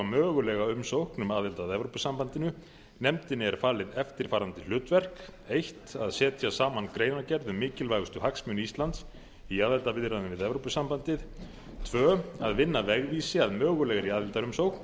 mögulega umsókn um aðild að evrópusambandinu nefndinni er falið eftirfarandi hlutverk fyrstu að setja saman greinargerð um mikilvægustu hagsmuni íslands í aðildarviðræðum við evrópusambandið annars að vinna vegvísi að mögulegri aðildarumsókn